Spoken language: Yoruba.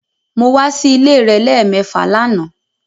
Mo wa si ile rẹ lẹmẹẹfa làná